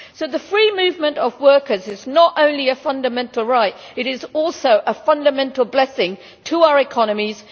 So the free movement of workers is not only a fundamental right, but also a fundamental blessing to our economies.